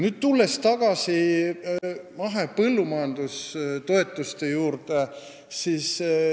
Tulen nüüd tagasi mahepõllumajandustoetuste juurde.